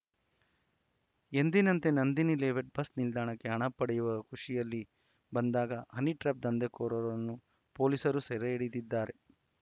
ಎಂದಿನಂತೆ Nandini layout bus ನಿಲ್ದಾಣಕ್ಕೆ ಹಣ ಪಡೆಯುವ ಖುಷಿಯಲ್ಲಿ ಬಂದಾಗ ಹನಿಟ್ರ್ಯಾಪ್‌ ದಂಧೆಕೋರರನ್ನು ಪೊಲೀಸರು ಸೆರೆ ಹಿಡಿದಿದ್ದಾರೆ